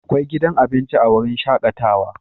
Akwai gidan abinci a wurin shakatawa